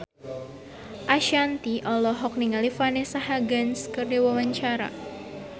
Ashanti olohok ningali Vanessa Hudgens keur diwawancara